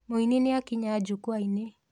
Mũini nĩakinya njukuainĩ.